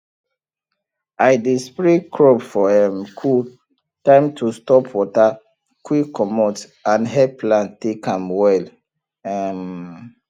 i dey spray crop for um cool time to stop water quick comot and help plant take am well um